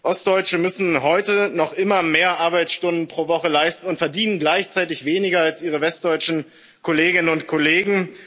Ostdeutsche müssen heute noch immer mehr Arbeitsstunden pro Woche leisten und verdienen gleichzeitig weniger als ihre westdeutschen Kolleginnen und Kollegen.